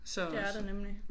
Det er der nemlig